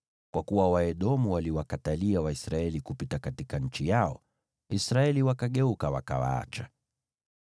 Kwa kuwa Waedomu waliwakatalia Waisraeli kupita katika nchi yao, Israeli wakageuka, wakawaacha.